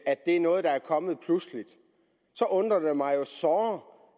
at det er noget der er kommet pludseligt så undrer det mig såre